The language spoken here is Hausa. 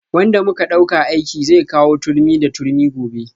Wanda muka dauka aiki zai kawo turmi da turmi gobe